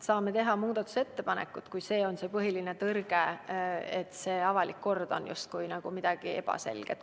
Saame teha muudatusettepanekud, kui põhiline tõrge on see, et avalik kord on justkui midagi ebaselget.